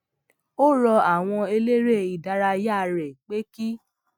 ó rọ àwọn eléré ìdárayá rè pé kí